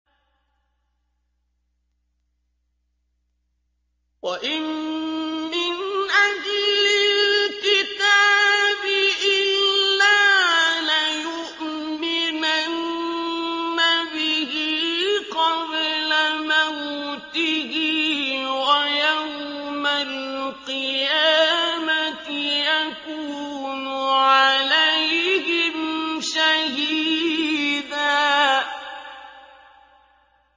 وَإِن مِّنْ أَهْلِ الْكِتَابِ إِلَّا لَيُؤْمِنَنَّ بِهِ قَبْلَ مَوْتِهِ ۖ وَيَوْمَ الْقِيَامَةِ يَكُونُ عَلَيْهِمْ شَهِيدًا